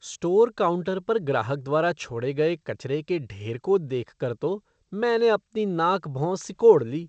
Store counter पर ग्राहक द्वारा छोड़े गए कचरे के ढेर को देखकर तो मैंने अपनी नाक भौं सिकोड़ ली।